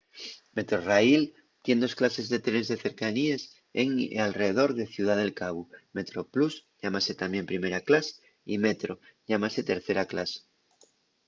metrorail tien dos clases de trenes de cercaníes en y alredor de ciudá del cabu; metroplus llámase tamién primera clas y metro llámase tercera clas